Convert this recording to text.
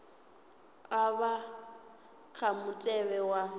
a vha kha mutevhe wa